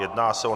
Jedná se o